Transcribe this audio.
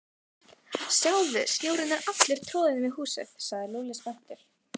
Sjáðu, snjórinn er allur troðinn við húsið sagði Lúlli spenntur.